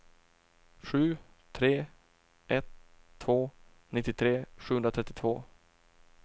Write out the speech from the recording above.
sju tre ett två nittiotre sjuhundratrettiotvå